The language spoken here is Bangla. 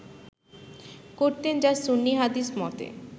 করতেন যা সুন্নি হাদিস মতে